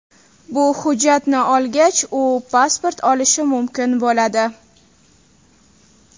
Bu hujjatni olgach u pasport olishi mumkin bo‘ladi.